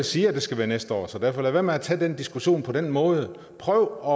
siger at det skal være næste år så lad være med at tage den diskussion på den måde prøv